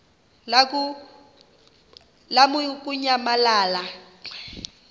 lamukunyamalala xa kanye